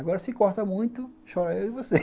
Agora, se corta muito, chora eu e você.